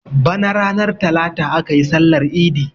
Bana ranar talata aka yi sallar idi.